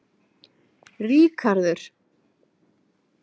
Ríkharður